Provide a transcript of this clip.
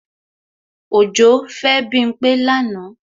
Òjó fẹ́ Bímpé lánàá